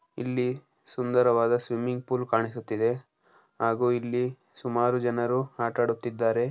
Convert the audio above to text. ಇಲ್ಲಿ ಸುಂದರವಾದ ಸ್ವಿಮಿಂಗ್‌ಫೂಲ್ ಕಾಣಿಸುತ್ತಿದೆ ಹಾಗೂ ಇಲ್ಲಿ ಸುಮಾರು ಜನರು ಆಟ ಆಡುತ್ತಿದ್ದಾರೆ.